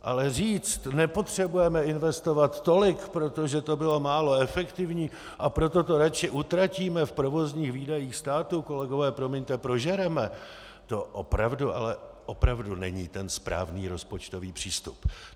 Ale říct: nepotřebujeme investovat tolik, protože to bylo málo efektivní, a proto to radši utratíme v provozních výdajích státu - kolegové, promiňte, prožereme -, to opravdu, ale opravdu není ten správný rozpočtový přístup.